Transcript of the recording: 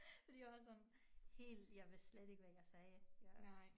Fordi jeg var sådan helt jeg ved slet ikke hvad jeg sagde jeg